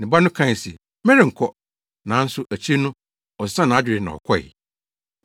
“Ne ba no kae se, ‘Merenkɔ,’ nanso akyiri no, ɔsesaa nʼadwene na ɔkɔe.